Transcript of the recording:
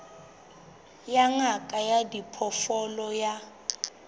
ya ngaka ya diphoofolo ya